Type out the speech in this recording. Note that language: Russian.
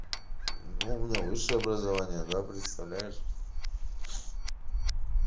ну у меня высшее образование да представляешь